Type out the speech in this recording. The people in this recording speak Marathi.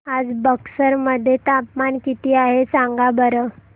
आज बक्सर मध्ये तापमान किती आहे सांगा बरं